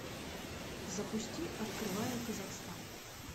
запусти открывая казахстан